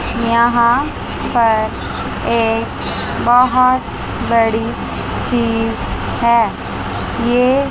यहां पर एक बहोत बड़ी चीज है ये--